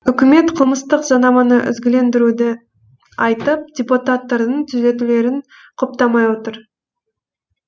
үкімет қылмыстық заңнаманы ізгілендіруді айтып депутаттардың түзетулерін құптамай отыр